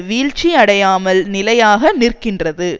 வீழ்ச்சி அடையாமல் நிலையாக நிற்கின்றது